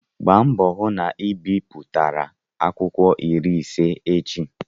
Gbaa mbọ hụ na ị biputere akwụkwọ iri ise echi!